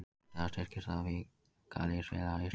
Eftir það styrktist staða verkalýðsfélaga á Íslandi.